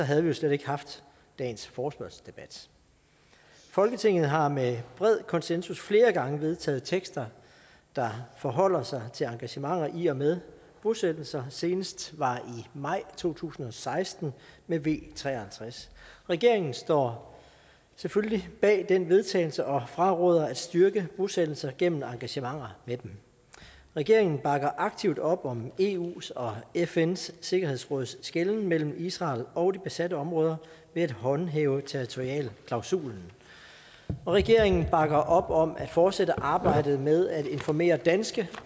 havde vi jo slet ikke haft dagens forespørgselsdebat folketinget har med bred konsensus flere gange vedtaget tekster der forholder sig til engagementer i og med bosættelser senest var i maj to tusind og seksten med v tre og halvtreds regeringen står selvfølgelig bag den vedtagelse og fraråder at styrke bosættelser gennem engagementer med dem regeringen bakker aktivt op om eus og fns sikkerhedsråds skelnen mellem israel og de besatte områder ved at håndhæve territorialklausulen og regeringen bakker op om at fortsætte arbejdet med at informere danske